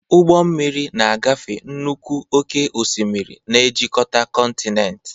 Ụgbọ mmiri na-agafe nnukwu oke osimiri, na-ejikọta kọntinent.